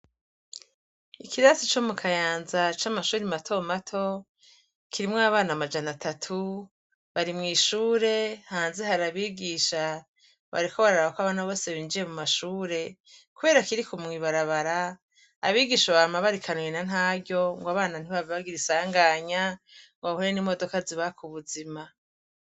Ikirasi comu Kayanza c'amashure matomato kirimwo abana amajana atatu, barimwishure hanze hari abigisha bariko bararabako bose binjiye mumashure kuberako kiri mwibarabara abigisha bama barikanuye nantaryo abana ntibahave bagira isanganya bahure nimodoka zibaka ubuzima.